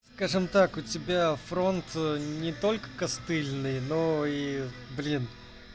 скажем так у тебя фронт не только костыльный но и блин